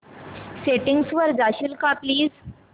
settings वर जाशील का प्लीज